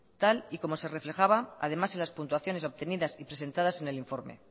tal y como se reflejaba además en las puntuaciones obtenidas y presentadas en el informe